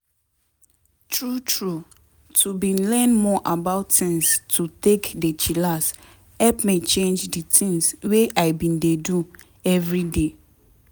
true true to bin learn more about tins to take dey chillax help me change di tins wey i bin dey do everyday.